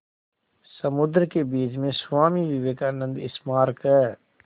समुद्र के बीच में स्वामी विवेकानंद स्मारक है